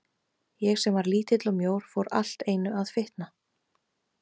Ég sem var lítill og mjór fór allt einu að fitna.